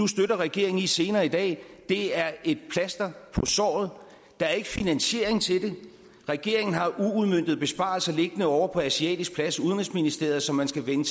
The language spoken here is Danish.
støtter regeringen i senere i dag er et plaster på såret der er ikke finansiering til det regeringen har uudmøntede besparelser liggende ovre på asiatisk plads i udenrigsministeriet som man skal vende